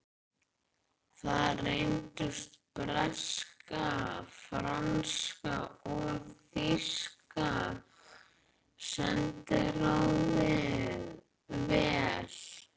Þar reyndust breska, franska og þýska sendiráðið vel.